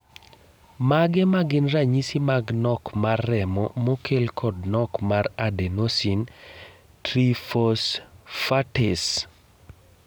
Mage magin ranyisi mag nok mar remo mokel kod nok mar Adenosine triphosphatase.